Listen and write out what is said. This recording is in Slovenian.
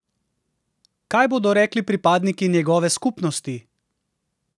Kaj bodo rekli pripadniki njegove skupnosti?